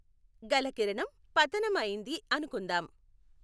గల కిరణం పతనం అయింది అనుకుందాం.